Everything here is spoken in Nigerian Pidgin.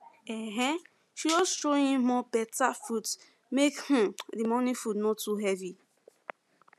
um she just throw in more um fruit make um the morning food no too heavy